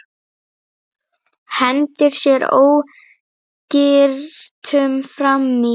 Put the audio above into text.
Hendir sér ógyrtur fram í.